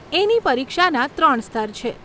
એની પરીક્ષાના ત્રણ સ્તર છે.